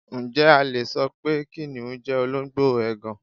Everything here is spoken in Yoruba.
Ǹjẹ́ a le so pé kìnnìún jẹ́ olóńgbò ègàn?